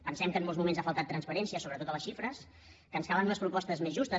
pensem que en molts moments ha faltat transparència sobretot a les xifres que ens calen unes propostes més justes